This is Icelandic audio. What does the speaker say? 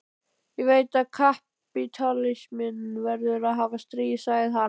Ég veit að kapítalisminn verður að hafa stríð, sagði hann.